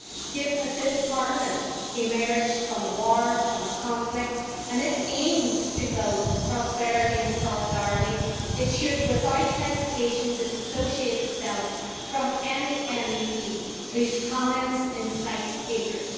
Given that this Parliament emerged from a war, from a conflict, and aims to build prosperity and solidarity, it should without hesitation disassociate itself from any MEP whose comments incite hatred.